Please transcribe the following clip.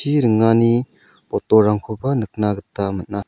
chi ringani botolrangkoba nikna gita man·a.